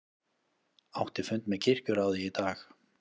Átti fund með kirkjuráði í dag